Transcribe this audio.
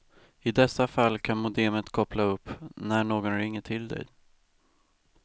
I dessa fall kan modemet koppla upp när någon ringer till dig.